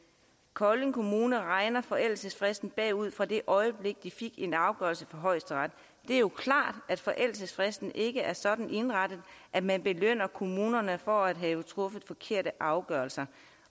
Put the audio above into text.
kolding kommune regner forældelsesfristen bagud fra det øjeblik de fik en afgørelse fra højesteret det er jo klart at forældelsesfristen ikke er sådan indrettet at man belønner kommunerne for at have truffet forkerte afgørelser